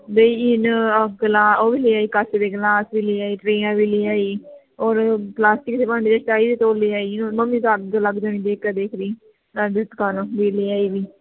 ਬਈ ਇਹਨੇ ਅੱਗ ਲਾ ਉਹ ਵੀ ਲੇ ਆਈ ਕੱਚ ਦੇ ਗਿਲਾਸ ਵੀ ਲੇ ਆਈ ਟਰੇਆਂ ਵੀ ਲੈ ਆਈ ਹੋਰ ਗਲਾਸੀ ਵੀ ਲੈ ਆਈ ਓਹਨੂੰ ਤਾਂ ਅੱਗ ਲੱਗ ਜਾਣੀ ਦੇਖਕੇ ਦੇਖ ਕੇ ਹੀ ਜੇ ਲੇ ਆਈ ਵੀ